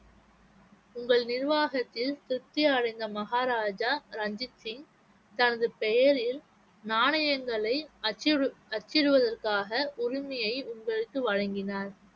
உங்கள் நிர்வாகத்தில் மகாராஜா ரஞ்சித் சிங் தனது பெயரில் நாணயங்களை அச்சிடு~ அச்சிடுவதற்காக உரிமையை உங்களுக்கு வழங்கினார்